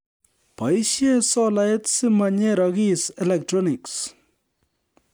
Boisie solait simanyerokis electronics